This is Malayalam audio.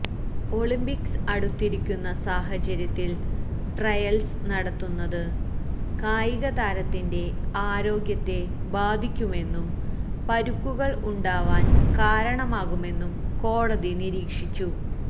ഒളിംപിക്സ് അടുത്തിരിക്കുന്ന സാഹചര്യത്തില് ട്രയല്സ് നടത്തുന്നത് കായികതാരത്തിന്റെ ആരോഗ്യത്തെ ബാധിക്കുമെന്നും പരുക്കുകള് ഉണ്ടാവാന് കാരണമാകുമെന്നും കോടതി നിരീക്ഷിച്ചു